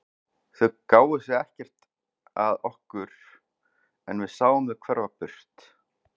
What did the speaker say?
Þau gáfu sig ekkert að okkur en við sáum þau hverfa burt.